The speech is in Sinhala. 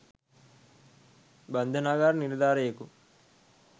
බන්ධනාගාර නිලධාරියෙකු